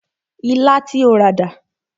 Ilá tí o rà dà?